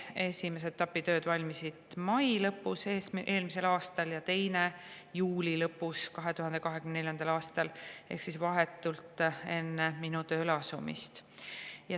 Esimese etapi tööd valmisid mai lõpus eelmisel aastal ja teise juuli lõpus 2024. aastal ehk siis vahetult enne minu tööle asumist.